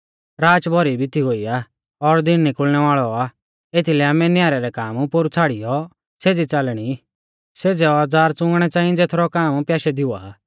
राच भौरी बिती गोई आ और दिन निकुल़णै वाल़ौ आ एथीलै आमै न्यारै रै काम पोरु छ़ाड़ियौ सेज़ै औज़ार च़ुंगणै च़ाई ज़ेथरौ काम प्याशै दी हुआ आ